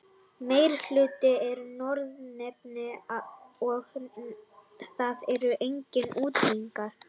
Meirihlutinn eru Norðanmenn og það eru engir útlendingar.